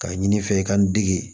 K'a ɲini n fɛ i ka n degi